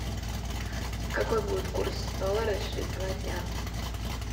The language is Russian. какой будет курс доллара через два дня